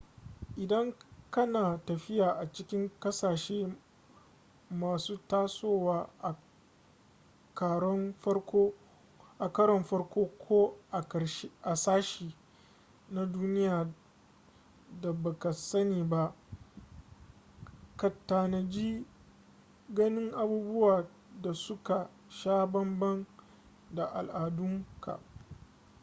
idan ka na tafiya a cikin kasashe masu tasowa a karon farko--ko a sashe na duniya da baka sani ba ka tanaji ganin abubuwa da su ka sha banban da al'adunka